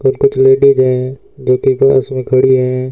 और कुछ लेडिज हैं एक एक क्लास में खड़ी हैं।